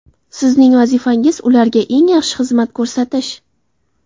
Sizning vazifangiz ularga eng yaxshi xizmat ko‘rsatish.